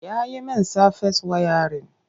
Ya yi min safes wayarin.